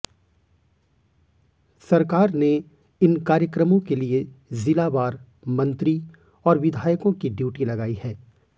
सरकार ने इन कार्यक्रमों के लिए जिलावार मंत्री और विधायकों की ड्यूटी लगाई है